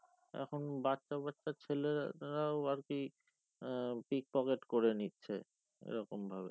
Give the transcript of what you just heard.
এখন বাচ্চাবাচ্চা ছেলে র রাও আরকি উম pickpocket করে নিচ্ছে এরকম ভাবে